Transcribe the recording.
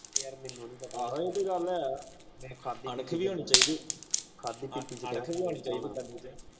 ਯਾਰ ਮੇਨੂ ਨੀ ਪਤਾ ਮੈਂ